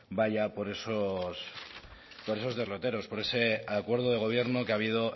vaya por esos derroteros por ese acuerdo de gobierno que ha habido